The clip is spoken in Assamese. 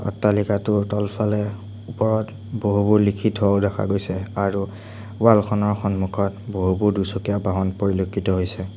অট্টালিকাটোৰ তলফালে ওপৰত বহুবোৰ লিখি থোৱা ও দেখা গৈছে আৰু ৱালখনৰ সন্মুখত বহুবোৰ দুচকীয়া বাহন পৰিলক্ষিত হৈছে।